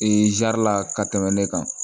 la ka tɛmɛ ne kan